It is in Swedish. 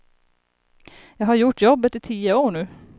Jag har gjort jobbet i tio år nu.